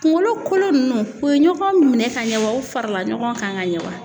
Kunkolo kolo ninnu u ye ɲɔgɔn minɛn ka ɲɛ wa u farala ɲɔgɔn kan ka ɲɛ wa?